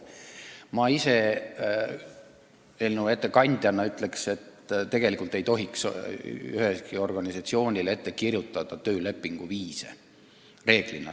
Mina eelnõu ettekandjana ütleksin, et tegelikult ei tohiks reeglina ühelegi organisatsioonile ette kirjutada töölepingu vorme.